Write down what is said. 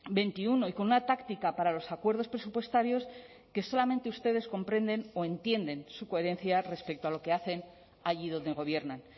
veintiuno y con una táctica para los acuerdos presupuestarios que solamente ustedes comprenden o entienden su coherencia respecto a lo que hacen allí donde gobiernan